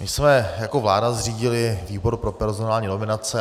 My jsme jako vláda zřídili výbor pro personální nominace.